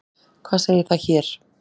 Hvað segir það þér?